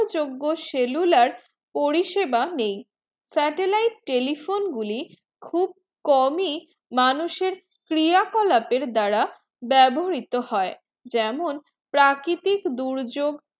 যোগ্য cellular পরিষেবা নেই satellite গুলি খুব কম ই মানুষের ক্রিয়া কলাপে দ্বারা বেবহৃরিত হয়ে যেমন প্রাকৃতিক দুর্যোক